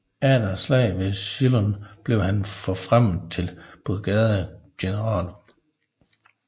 Efter Slaget ved Shiloh blev han forfremmet til brigadegeneral